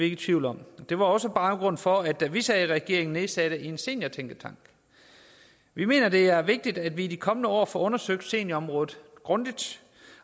i tvivl om det var også baggrunden for at vi da vi sad i regering nedsatte en seniortænketank vi mener det er vigtigt at vi i de kommende år får undersøgt seniorområdet grundigt